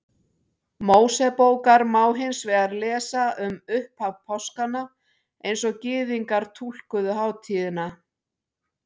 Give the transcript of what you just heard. Mósebókar má hins vegar lesa um upphaf páskanna eins og Gyðingar túlkuðu hátíðina.